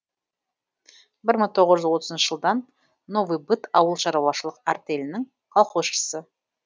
бір мың тоғыз жүз отызыншы жылдан новый быт ауыл шаруашылық артелінің колхозшысы